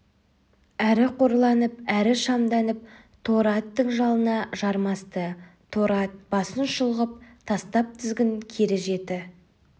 әрі қорланып әрі шамданып торы аттың жалына жармасты торы ат басын шұлғып тастап тізгін кере жіті